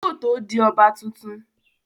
Yóò tó di ọba tuntun